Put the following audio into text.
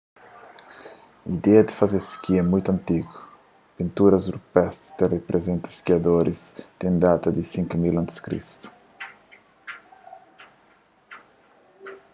ideia di faze ski é mutu antigu pinturas rupestri ta riprizenta skiadoris ten data di 5000 a.c